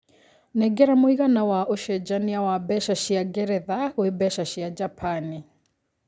nengera mũigana wa ũcenjanĩa wa mbeca cĩa ngeretha gwĩ mbeca cĩa japanĩ